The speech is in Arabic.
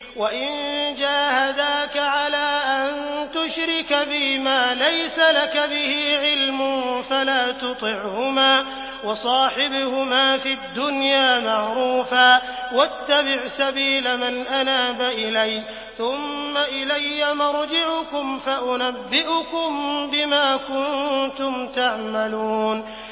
وَإِن جَاهَدَاكَ عَلَىٰ أَن تُشْرِكَ بِي مَا لَيْسَ لَكَ بِهِ عِلْمٌ فَلَا تُطِعْهُمَا ۖ وَصَاحِبْهُمَا فِي الدُّنْيَا مَعْرُوفًا ۖ وَاتَّبِعْ سَبِيلَ مَنْ أَنَابَ إِلَيَّ ۚ ثُمَّ إِلَيَّ مَرْجِعُكُمْ فَأُنَبِّئُكُم بِمَا كُنتُمْ تَعْمَلُونَ